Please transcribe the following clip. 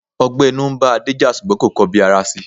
Ọgbẹ́ inú ń bá Adé jà, ṣùgbọ́n kò kọ bi ara si.